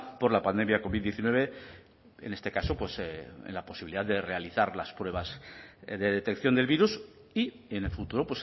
por la pandemia covid diecinueve en este caso pues en la posibilidad de realizar las pruebas de detección del virus y en el futuro